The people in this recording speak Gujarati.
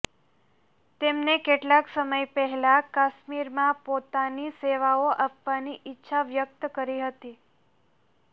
તેમને કેટલાક સમય પહેલા કાશ્મીરમાં પોતાની સેવાઓ આપવાની ઇચ્છા વ્યક્ત કરી હતી